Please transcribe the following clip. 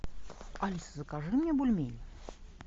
алиса закажи мне бульмени